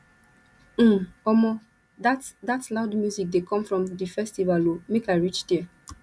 um omo dat dat loud music dey come from di festival o make i reach there